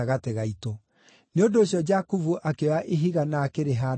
Nĩ ũndũ ũcio Jakubu akĩoya ihiga na akĩrĩhaanda ta gĩtugĩ.